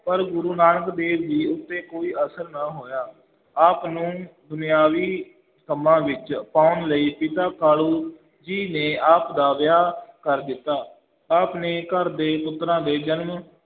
ਪਰ ਗੁਰੂ ਨਾਨਕ ਦੇਵ ਜੀ ਉੱਤੇ ਕੋਈ ਅਸਰ ਨਾ ਹੋਇਆ, ਆਪ ਨੂੰ ਦੁਨਿਆਵੀ ਕੰਮਾਂ ਵਿੱਚ ਪਾਉਣ ਲਈ ਪਿਤਾ ਕਾਲੂ ਜੀ ਨੇ ਆਪ ਦਾ ਵਿਆਹ ਕਰ ਦਿੱਤਾ, ਆਪ ਨੇ ਘਰ ਦੇ ਪੁੱਤਰਾਂ ਦੇ ਜਨਮ